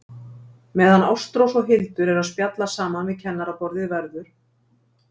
Meðan Ástrós og Hildur eru að spjalla saman við kennaraborðið verður